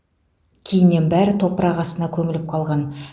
кейіннен бәрі топырақ астына көміліп қалған